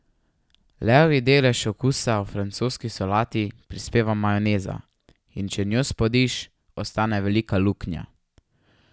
Levji delež okusa v francoski solati prispeva majoneza, in če njo spodiš, ostane velika luknja.